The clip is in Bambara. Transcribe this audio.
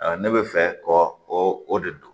Ne bɛ fɛ kɔ o de don